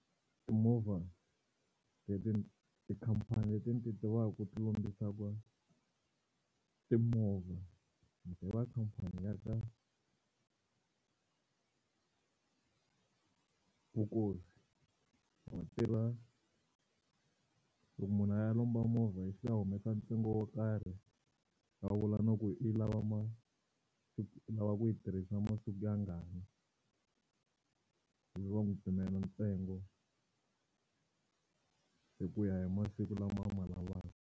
Timovha leti tikhampani leti ndzi ti tivaka ti lombisaka timovha ndzi tiva khampani ya ka Vukosi vatirha loko munhu a ya lomba movha ya humesa ntsengo wo karhi a vula no ku i lava va lava ku yi tirhisa masiku yangani ivi va n'wi pimela ntsengo hi ku ya hi masiku lama a ma lavaku.